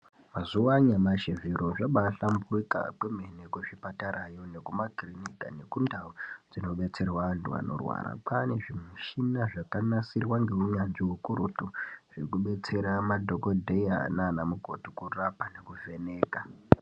Mazuwa anyamashi zviro zvabaahlamburuka kwemene kuzvipatarayo nekumakirinika nekundau dzinobetserwa antu anorwara. Kwaane zvimishina zvakanasirwa ngeunyanzvi ukurutu zvekubetsera madhokodheya naanamukoti kurapa nekuvheneka.